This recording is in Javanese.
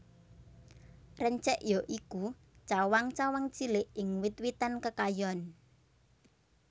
Rencek ya iku cawang cawang cilik ing wit witan kekayon